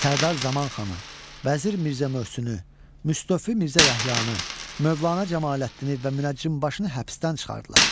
Sərdar Zaman xanı, vəzir Mirzə Möhsünü, Müstəfi Mirzə Yəhyanı, Mövlana Camaləddini və münəccimbaşını həbsdən çıxardılar.